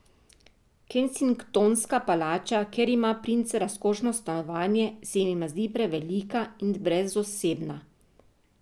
Kensingtonska palača, kjer ima princ razkošno stanovanje, se jima zdi prevelika in brezosebna.